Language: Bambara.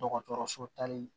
Dɔgɔtɔrɔso tali